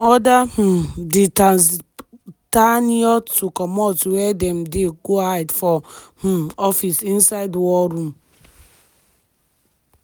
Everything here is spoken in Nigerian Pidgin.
dem order um di tatzpitaniyot to comot wia dem dey go hide for um office inside war room.